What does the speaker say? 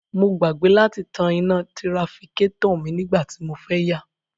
Mo gbàgbé láti tan iná tirafikátọ̀ mi nígbà tí mo fẹ́ yà